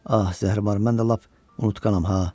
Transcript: Ah, zəhrimar, mən də lap unutqanam ha.